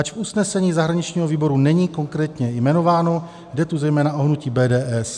Ač v usnesení zahraničního výboru není konkrétně jmenováno, jde tu zejména o hnutí BDS.